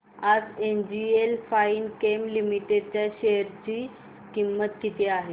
आज NGL Finechem limited च्या share ची किंमत किती आहे